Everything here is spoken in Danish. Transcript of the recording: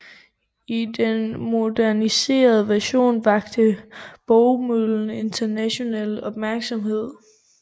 I den moderniserede version vakte Bogømøllen international opmærksomhed